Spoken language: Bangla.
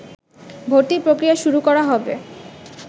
ভর্তির প্রক্রিয়া শুরু করা হবে